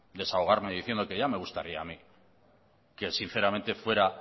desahogarme diciendo que ya me gustaría a mí que sinceramente fuera